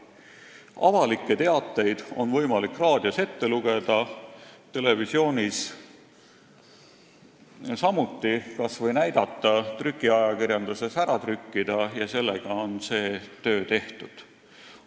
Avalikke teateid on võimalik raadios ette lugeda, televisioonis samuti, kas või näidata ja trükiajakirjanduses ära trükkida ning sellega on see töö tehtud.